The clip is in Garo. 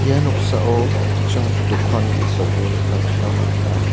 ia noksao an·ching dokan ge·sako nikna gita man·a.